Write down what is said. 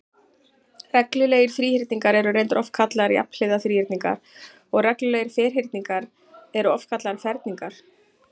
Reglulegir þríhyrningar eru reyndar oftar kallaðir jafnhliða þríhyrningar og reglulegir ferhyrningar eru oftar kallaðir ferningar.